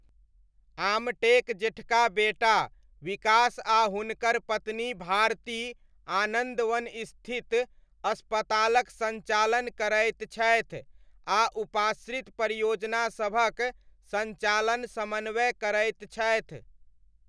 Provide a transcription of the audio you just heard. आमटेक जेठका बेटा विकास आ हुनकर पत्नी भारती आनन्दवन स्थित अस्पतालक सञ्चालन करैत छथि आ उपाश्रित परियोजना सभक सञ्चालन समन्वय करैत छथि।